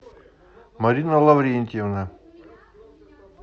марина лаврентьевна